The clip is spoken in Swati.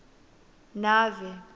nave